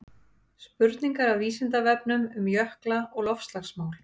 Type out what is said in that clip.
spurningar af vísindavefnum um jökla og loftslagsmál